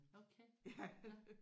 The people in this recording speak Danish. Okay nåh